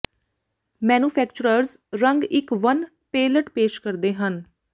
manufacturers ਰੰਗ ਦੀ ਇੱਕ ਵੰਨ ਪੈਲਅਟ ਪੇਸ਼ ਕਰਦੇ ਹਨ